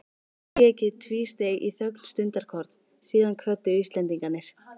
Þríeykið tvísteig í þögn stundarkorn, síðan kvöddu Íslendingarnir.